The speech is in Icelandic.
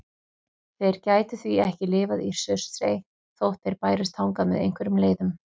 Þeir gætu því ekki lifað í Surtsey þótt þeir bærust þangað með einhverjum leiðum.